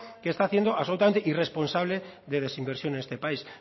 que está haciendo absolutamente irresponsable de desinversión en este país